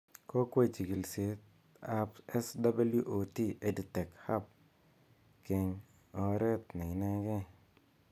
Kokwai chikilishet ab SWOT EdTech Hub keng oret ne inegei